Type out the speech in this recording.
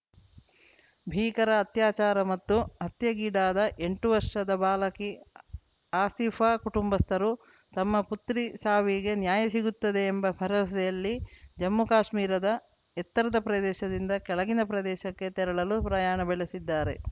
ಭೀಕರ ಅತ್ಯಾಚಾರ ಮತ್ತು ಹತ್ಯೆಗೀಡಾದ ಎಂಟು ವರ್ಷದ ಬಾಲಕಿ ಆಸೀಫಾ ಕುಟುಂಬಸ್ಥರು ತಮ್ಮ ಪುತ್ರಿ ಸಾವಿಗೆ ನ್ಯಾಯ ಸಿಗುತ್ತದೆ ಎಂಬ ಭರವಸೆಯಲ್ಲಿ ಜಮ್ಮುಕಾಶ್ಮೀರದ ಎತ್ತರದ ಪ್ರದೇಶದಿಂದ ಕೆಳಗಿನ ಪ್ರದೇಶಕ್ಕೆ ತೆರಳಲು ಪ್ರಯಾಣ ಬೆಳೆಸಿದ್ದಾರೆ